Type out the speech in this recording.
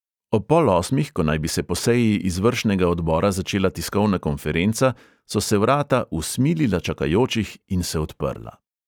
Ob pol osmih, ko naj bi se po seji izvršnega odbora začela tiskovna konferenca, so se vrata usmilila čakajočih in se odprla.